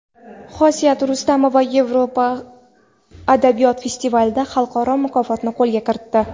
Xosiyat Rustamova Yevrosiyo adabiyot festivalida xalqaro mukofotni qo‘lga kiritdi.